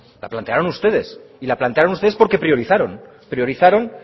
la plantearon ustedes y la plantearon ustedes porque priorizaron priorizaron